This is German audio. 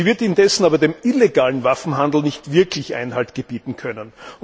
Sie wird indessen aber dem illegalen Waffenhandel nicht wirklich Einhalt gebieten können.